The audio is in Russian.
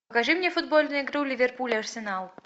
покажи мне футбольную игру ливерпуль арсенал